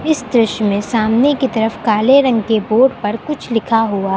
इस दृश्य में सामने की तरफ काले रंग के बोर्ड पर कुछ लिखा हुआ--